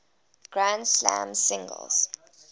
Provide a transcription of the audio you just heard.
grand slam singles